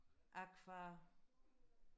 aqua